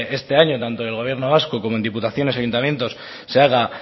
este año tanto en el gobierno vasco como en diputaciones y ayuntamientos se haga